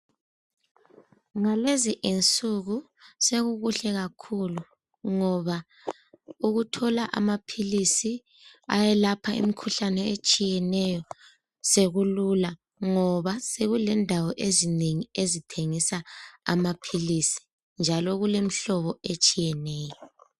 Ngalezi izinsuku sokukuhle kakhulu ngoba ukuthola amaphilizi okulapha imikhuhlane etshiyeneyo sokulula ngoba sokulendaeo ezinengi ezithengisa amaphilizi njalo kulemihlobo etshiyeneyo.